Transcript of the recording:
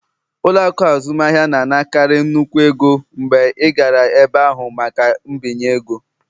Ụlọ akụ azụmaahịa na-anakarị nnukwu ego mgbe ị gara ebe ahụ maka mbinye ego